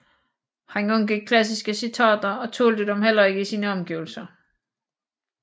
Han undgik klassiske citater og tålte dem heller ikke i sine omgivelser